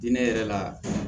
Diinɛ yɛrɛ la